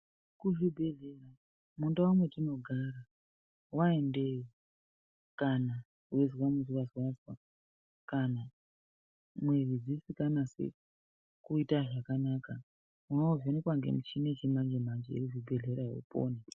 Ku zvibhedhleya mundau metino gara wa endeyo kana weizwa muzwazwa kana mwiri dzisika nasi kuita zvakanaka uno vhenekwa nge muchini yechi manje manje iri mu zvibhedhlerayo upone.